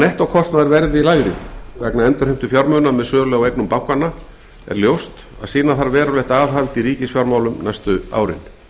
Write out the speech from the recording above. nettókostnaður verði lægri vegna endurheimtu fjármuna með sölu á eignum bankanna er ljóst að sýna þarf verulegt aðhald í ríkisfjármálum næstu árin